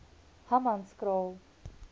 hammanskraal